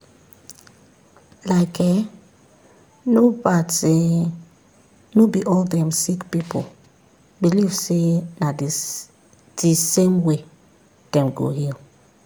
like[um]no bad say no be all dem sick pipu believe say na the the same way dem go heal.